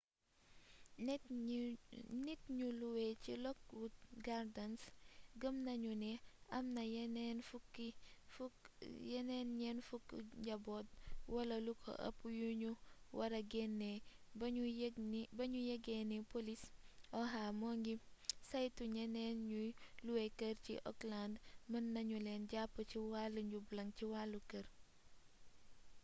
nit ñu luwe ci lockwood gardens gëm nañu ni am na yeneen 40 njaboot wala lu ko ëpp yu ñu wara génne ba ñu yëge ni polis oha moo ngi saytu ñeneen ñuy luwe kër ci oakland mën na ñu leen jàpp ci wàll njublaŋ ci wàllu kër